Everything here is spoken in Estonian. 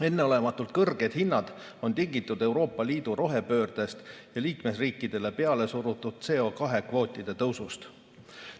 Enneolematult kõrged hinnad on tingitud Euroopa Liidu rohepöördest ja liikmesriikidele peale surutud CO2 kvootide tõusust.